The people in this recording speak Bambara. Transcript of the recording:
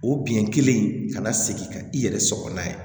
O bin kelen in kana segin ka i yɛrɛ sɔgɔ n'a ye